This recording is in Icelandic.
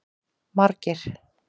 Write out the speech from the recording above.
Margeir